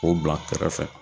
K'o bila kɛrɛfɛ